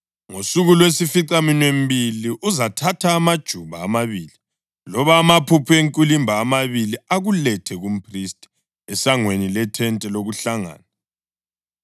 Ngosuku lwesificaminwembili uzathatha amajuba amabili loba amaphuphu enkwilimba amabili akulethe kumphristi esangweni lethente lokuhlangana.